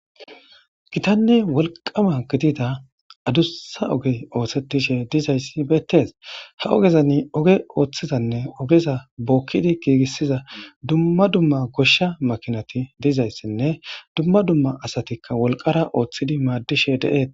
Gitanne wolqqama gidida adussa oge oosettishe dizayssi beettes. ha ogezani oge ooththizanne ogeza bookkidi giigissiza dumma dumma goshsha makinati dizayssinne dumma dumma asatikka wolqara ooththidi maaddishe de7eet